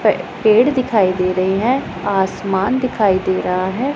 पेड़ दिखाई दे रही है आसमान दिखाई दे रहा है।